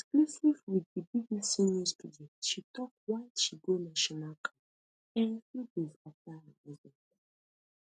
for exclusive wit di bbc news pidgin she tok why she go national camp um few days afta her husband die